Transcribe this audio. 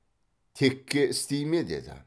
текке істей ме деді